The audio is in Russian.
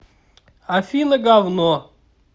афина гавно